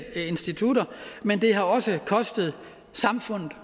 institutter men det har også kostet samfundet